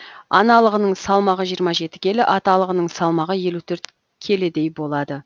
аналығының салмағы жиырма жеті келі аталығының салмағы елу төрт келідей болады